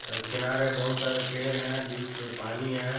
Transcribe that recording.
किनारे बहुत सारे पेड़ है बिच में पानी है।